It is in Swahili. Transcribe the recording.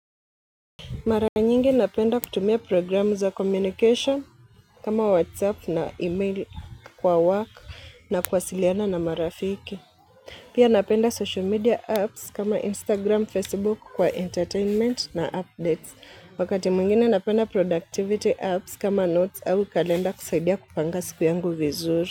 Mara nyingi napenda kutumia programu za communication kama WhatsApp na email kwa work na kwa kuwasiliana na marafiki. Pia napenda social media apps kama Instagram, Facebook kwa entertainment na updates. Wakati mwingine napenda productivity apps kama notes au kalenda kusaidia kupanga siku yangu vizuri.